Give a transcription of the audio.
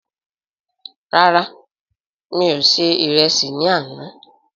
Rárá, mí o ṣe ìrẹsì ní àna